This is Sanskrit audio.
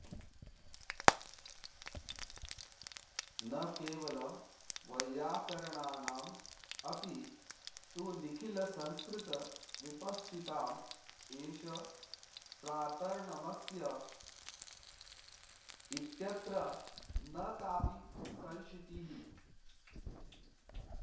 न केवलं वैयाकरणानाम् अपि तु निखिलसंस्कृतविपश्चिताम् एष प्रातर्नमस्यः इत्यत्र न काऽपि संशीतिः